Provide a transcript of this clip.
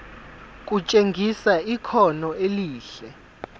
kutshengisa ikhono elihle